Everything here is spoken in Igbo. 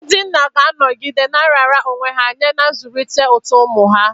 Ndị nna ga-anọgide na-arara onwe ha nye n'ịzụlite uto ụmụ ha.